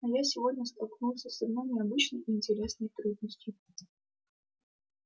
но я сегодня столкнулся с одной необычной и интересной трудностью